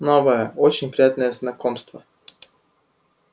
новое очень приятное знакомство